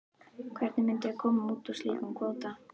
Hvernig myndum við koma út úr slíkum kvóta?